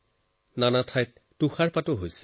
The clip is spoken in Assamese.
বহু ঠাইত তুষাৰপাতো হৈ আছে